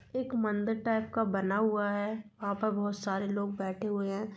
एक मंदिर टाइप का बना हुआ है वहा पर बहुत सारे लोग बैठे हुए हैं।